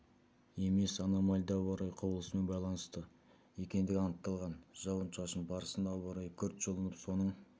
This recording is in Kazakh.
емес аномальды ауа райы құбылысымен байланысты екендігі анықталған жауын-шашын барысында ауа райы күрт жылынып соның